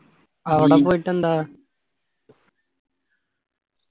അവിടെ പോയിട്ടെന്താ